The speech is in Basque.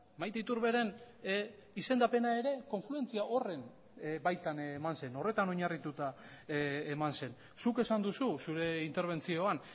maite iturberen izendapena ere konfluentzia horren baitan eman zen horretan oinarrituta eman zen zuk esan duzu zure interbentzioan